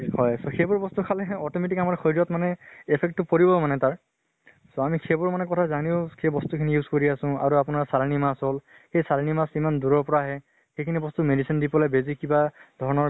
হয় so সেইবোৰ বস্তু খালে automatic আমাৰ শৰীৰত মানে affect টো পৰিব মানে তাৰ। so আমি সেইবোৰ মানে কথা জানও এই বস্তু খিনি use কৰি আছো। আৰু আপোনাৰ চালানী মাছ হল। সেই চালানী মাছ ইমান দূৰৰ পৰা আহে । সিই খিনি বস্তু medicine দি পালে বেজি কিবা ধৰণৰ